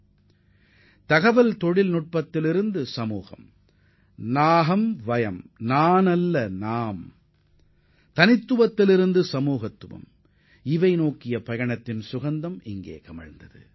நான் இல்லை நாங்கள் என்ற மாற்றம் தனிநபர்களிடமிருந்து சமுதாயத்தை மனதிற்கொண்டு சமுதாய பணியாற்றுவதற்கான புதிய சூழலை தகவல் தொழில்நுட்பத் துறையினரிடையே உருவாக்கியுள்ளது